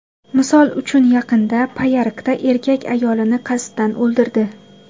Misol uchun, yaqinda Payariqda erkak ayolini qasddan o‘ldirdi.